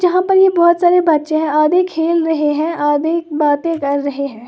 यहां पर ये बहोत सारे बच्चे हैं आधे खेल रहे हैं आधे बातें कर रहे हैं।